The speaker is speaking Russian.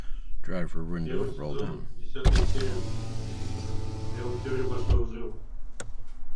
первый сезон десятая серия сериал теория большого взрыва